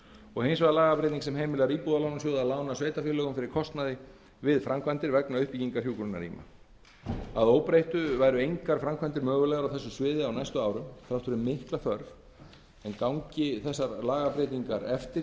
og hins vegar lagabreyting sem heimilar íbúðalánasjóði að lána sveitarfélögum fyrir kostnaði við framkvæmdir vegna uppbyggingar hjúkrunarrýma að óbreyttu væru engar framkvæmdir mögulegar á þessu sviði á næstu árum þrátt fyrir mikla þörf en gangi fyrirhugaðar lagabreytingar eftir getum